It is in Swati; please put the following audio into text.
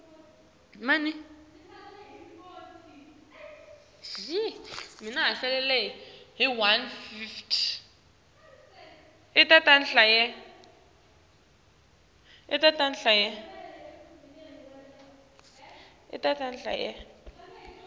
emabhizimisi etfu anetinkinga kulamalanga